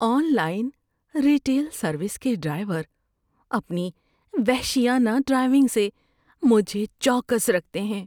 On line retail service کے driver اپنی وحشیانہ ڈرائیونگ سے مجھے چوکس رکھتے ہیں۔